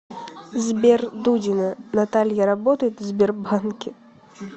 сбер дудина наталья работает в сбербанке